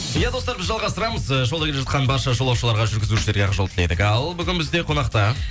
иә достар біз жалғастырамыз ы жолда келе жатқан барша жолушыларға жүргізушерге ақ жол тіледік ал бүгін бізде қонақта